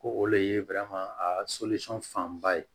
Ko o le ye a fanba ye